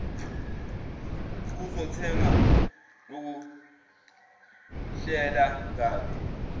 zokuthenga ukuhlela kabi